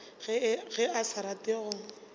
ge a sa rate go